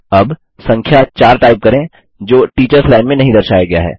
अब संख्या 4 टाइप करें जो टीचर्स लाइन में नहीं दर्शाया गया है